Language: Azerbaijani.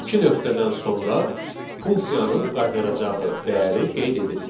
İki nöqtədən sonra funksiyanın qaytaracağı dəyəri qeyd edirik.